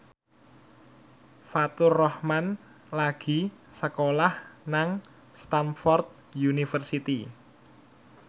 Faturrahman lagi sekolah nang Stamford University